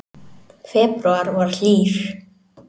Febrúar var hlýr